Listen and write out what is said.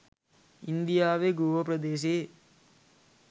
ඉන්දියාවේ ගෝව ප්‍රදේශයේ